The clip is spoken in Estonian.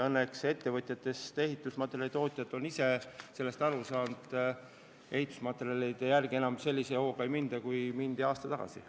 Õnneks ettevõtjatest ehitusmaterjalimüüjad on sellest aru saanud ja ehitusmaterjalide järele enam nii hoogsalt ei sõideta kui aasta tagasi.